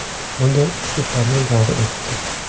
Bunday uslublarning davri o‘tdi.